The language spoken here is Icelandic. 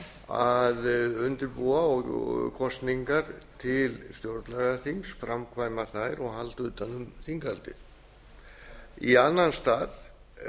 að undirbúa kosningar til stjórnlagaþings framkvæma þær og halda utan um þinghaldið í annan stað